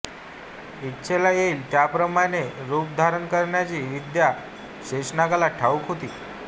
इच्छेला येईल त्याप्रमाणे रुप धारण करण्याची विद्या शेषनागाला ठाऊक होती